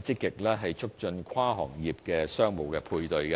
積極促進跨行業的商務配對。